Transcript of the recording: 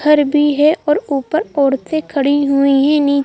घर भी है और ऊपर औरतें खड़ी हुई हैं नी--